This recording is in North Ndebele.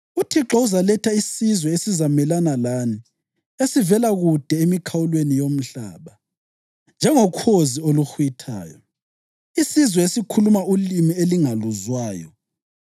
UThixo uzaletha isizwe esizamelana lani esivela kude emikhawulweni yomhlaba, njengokhozi oluhwithayo, isizwe esikhuluma ulimi elingaluzwayo,